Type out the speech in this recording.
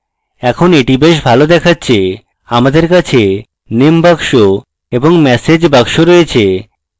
এখন এটি বেশ ভালো দেখাচ্ছে আমাদের কাছে name box এবং message box রয়েছে